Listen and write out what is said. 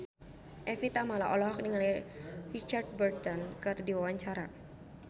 Evie Tamala olohok ningali Richard Burton keur diwawancara